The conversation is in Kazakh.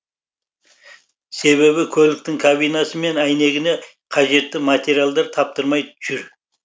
себебі көліктің кабинасы мен әйнегіне қажетті материалдар таптырмай жүр